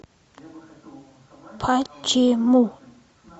почему